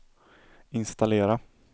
installera